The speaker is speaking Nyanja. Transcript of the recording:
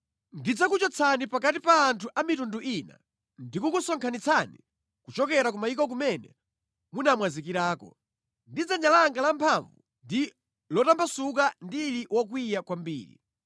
Ndidzakuchotsani pakati pa anthu a mitundu ina ndikukusonkhanitsani kuchokera ku mayiko kumene munamwazikirako, ndi dzanja langa lamphamvu ndi lotambasuka ndili wokwiya kwambiri.